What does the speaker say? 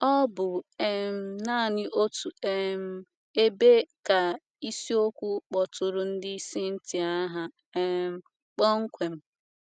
Ọ bụ um nanị n’otu um ebe ka ịsiokwu kpọtụrụ ndị Scythia aha um kpọmkwem.